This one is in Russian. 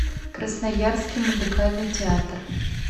красноярский музыкальный театр